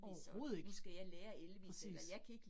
Overhovedet ikke. Præcis